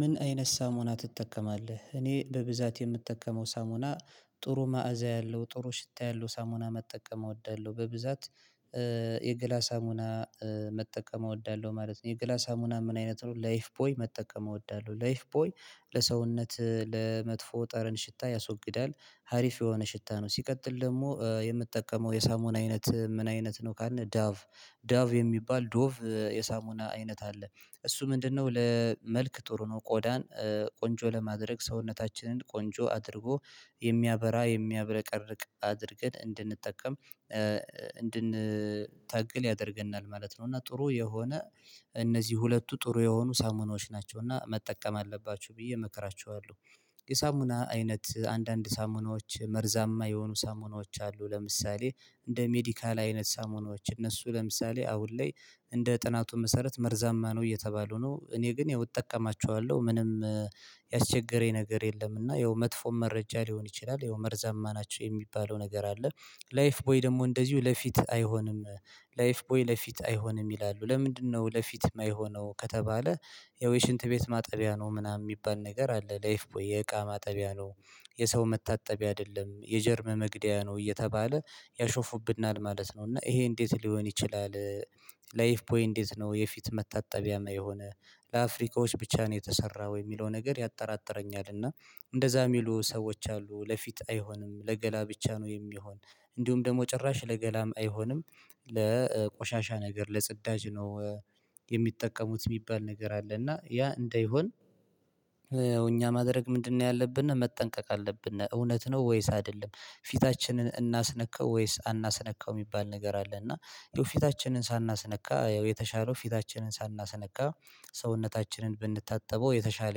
ምን አይነት ሳሙና ትጠቀማለህ? እኔ በብዛት የምጠቀመው ሳሙና ጥሩ መዓዛ ያለው ጥሩ ሽታ ያለው ሳሙና መጠቀም እወዳለሁ በብዛት የገላ ሳሙና መጠቀም እወዳለሁ ማለት ነው። የገላ ሳሙና ምን አይነት ነው ላይፍ ቦይ መጠቀም እወዳለሁ ላይፍ ቦይ ለሰውነት ለመጥፎ ጠረን ሽታ ያስወግዳል። አሪፍ የሆነ ሽታ ነው። ሲቀጥል ደግሞ የምጠቀመው የሳሙን አይነት ምን አይነት ነው? ካልን ዳቭ ዳቭ የሚባል ዶቭ የሳሙና አይነት አለ። እሱ ምንድነው ለመልክ ጥሩ ነው። ቆዳን ቆንጆ ለማድረግ ሰውነታችንን ቆንጆ አድርጎ የሚያበራ የሚያብረቀርቅ አድርገን እንድንጠቀም እንድንታገል ያደርገናል ማለት ነው። እና ጥሩ የሆነ እነዚህ ሁለቱ ጥሩ የሆኑ ሳሙናዎች ናቸው እና መጠቀም አለባችሁ ብዬ እመክራችኋለሁ። የሳሙና አይነት አንዳንድ ሳሙናዎች መርዛማ የሆኑ ሳሙናዎች አሉ ለምሳሌ እንደ ሜዲካል አይነት ሳሙናዎች እነሱ ለምሳሌ አሁን ላይ እንደ ጥናቱ መሰረት መርዛማ ነው እየተባሉ ነው። እኔ ግን ያው እጠቀማቸዋለሁ ምንም ያስቸገረኝ ነገር የለም። እና ያው መጥፎ መረጃ ሊሆን ይችላል። ያው መርዛማ ናቸው የሚባለው ነገር አለ። ላይፍ ቦይ ደግሞ እንደዚሁ ለፊት አይሆንም። ላይፍ ቦይ ለፊት አይሆንም ይላሉ ለምንድነው? ለፊት የማይሆነው ከተባለ ያው የሽንት ቤት ማጠቢያ ነው ምናምን የሚባል ነገር አለ ላይፍ ቦይ የእቃ ማጠቢያ ነው። የሰው መታጠቢያ አይደለም የጀርም መግደያ ነው እየተባለ ያሾፉብናል ማለት ነው። እና ይሄ እንዴት ሊሆን ይችላል? ላይፍ ቦይ እንዴት ነው የፊት መታጠቢያ ማይሆን ለአፍሪካዎች ብቻ ነው የተሰራው የሚለው ነገር ያጠራጥረኛል። እና እንደዛ የሚሉ ሰዎች አሉ ለፊት አይሆንም ለገላ ብቻ ነው የሚሆን እንዲሁም ደግሞ ጭራሽ ለገላም አይሆንም። ለቆሻሻ ነገር ለጽዳጅ ነው። የሚጠቀሙት የሚባል ነገር አለ እና ያ እንደይሆን እኛ ማድረግ ምንድነው? ያለብን መጠንቀቅ አለብን እውነት ነው። ወይስ አይደለም ፊታችንን እናስነካው ወይስ አናስነካው የሚባል ነገር አለ። እና ይኸው የፊታችንን ሳናስነካ የተሻለው ፊታችንን ሳናስነካ ሰውነታችንን ብንታጠበው የተሻለ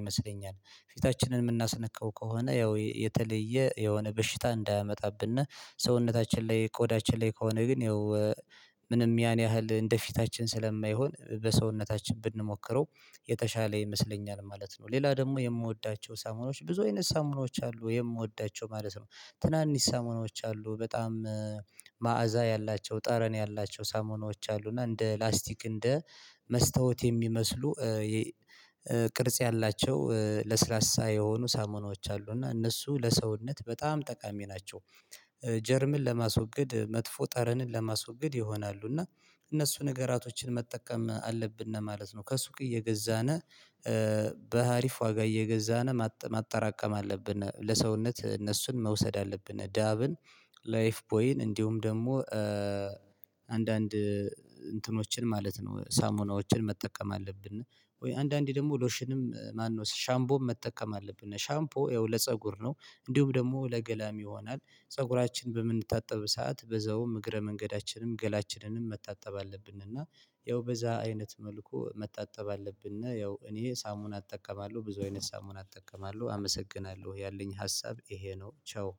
ይመስለኛል። ፊታችንን የምናስነካው ከሆነ ያው የተለየ የሆነ በሽታ እንዳያመጣብነ ሰውነታችን ላይ ቆዳችን ላይ ከሆነ ግን ያው ምንም ያን ያህል እንደፊታችን ስለማይሆን በሰውነታችን ብንሞክረው የተሻለ ይመስለኛል ማለት ነው። ሌላ ደግሞ የምወዳቸው ሳሞናዎች ብዙ አይነት ሳሞናዎች አሉ የምወዳቸው ማለት ነው። ትናንሽ ሳሞናዎች አሉ በጣም መዓዛ ያላቸው ጠረን ያላቸው ሳሞናዎች አሉ እና እንደ ላስቲክ እንደ መስታወት የሚመስሉ ቅርጽ ያላቸው ለስላሳ ሳይሆኑ ሳሞናዎች አሉ። እና እነሱ ለሰውነት በጣም ጠቃሚ ናቸው። ጀርምን ለማስወገድ መጥፎ ጠረንን ለማስወገድ ይሆናሉ። እና እነሱ ነገራቶችን መጠቀም አለብን ማለት ነው። ከሱቅ እየገዛነ በአሪፍ ዋጋ እየገዛነ ማጠራቀም አለብን ለሰውነት እነሱን መውሰድ አለብን። ዳቭን ላይፍ ቦይን እንዲሁም ደግሞ አንዳንድ እንትኖችን ማለት ነው ሳሙናዎችን መጠቀም አለብን። እና ወይ አንዳንዴ ደግሞ ሎሽንም ማነው ሻምፖ መጠቀም አለብን። ሻምፖ ይኸው ለፀጉር ነው እንዲሁም ደግሞ ለገላም ይሆናል። ፀጉራችን በምንታጠብ ሰዓት በዛውም እግረ መንገዳችንም ገላችንንም መታጠብ አለብንና ያው በዛ አይነት መልኩ መታጠብ አለብን። እና ያው እኔ ሳሙና አጠቀማለሁ ብዙ አይነት ሳሙና አጠቀማለሁ አመሰግናለሁ ያለኝ ሀሳብ ይሄ ነው። ቻው